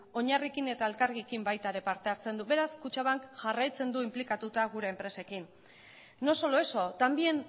eta elkargi baita ere parte hartzen du beraz kutxabankek jarraitzen du inplikatuta gure enpresekin no solo eso también